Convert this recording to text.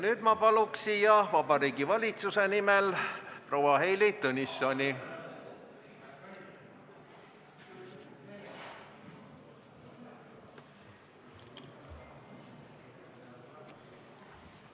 Nüüd ma palun siia Vabariigi Valitsuse nimel proua Heili Tõnissoni!